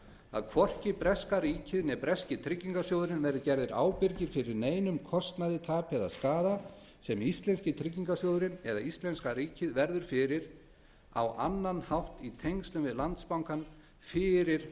að hvorki breska ríkið né breski tryggingarsjóðurinn verði gerðir ábyrgir fyrir neinum kostnaði tapi eða skaða sem íslenski tryggingarsjóðurinn eða íslenska ríkið verður fyrir á annan hátt í tengslum við landsbankann fyrir